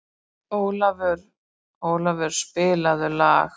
Ólafur, spilaðu lag.